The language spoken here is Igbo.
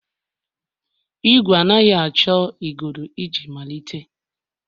Ìgwè anaghị achọ igodo iji malite.